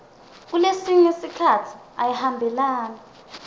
kulesinye sikhatsi ayihambelani